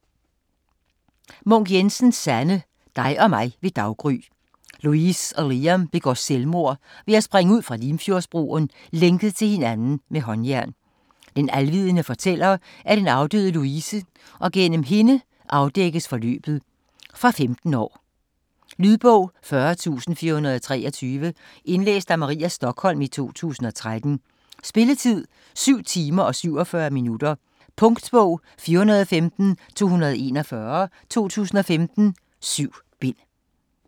Munk Jensen, Sanne: Dig og mig ved daggry Louise og Liam begår selvmord ved at springe ud fra Limfjordsbroen, lænket til hinanden med håndjern. Den alvidende fortæller er den afdøde Louise og gennem hende afdækkes forløbet. Fra 15 år. Lydbog 40423 Indlæst af Maria Stokholm, 2013. Spilletid: 7 timer, 47 minutter. Punktbog 415241 2015. 7 bind.